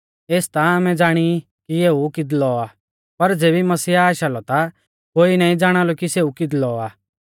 एस ता आमै ज़ाणी ई कि एऊ किदलौ आ पर ज़ेबी मसीह आशा लौ ता कोई नाईं ज़ाणालौ कि सेऊ किदलौ आ